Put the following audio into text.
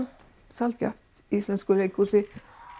sjaldgæft í íslensku leikhúsi